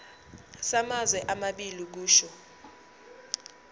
samazwe amabili kusho